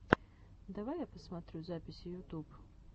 давай я посмотрю записи ютуб